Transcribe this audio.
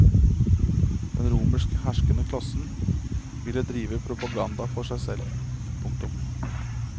Den romerske herskende klassen ville drive propaganda for seg selv. punktum